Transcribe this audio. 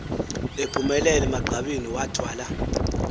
ephumelele emagqabini wathwala